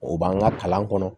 O b'an ka kalan kɔnɔ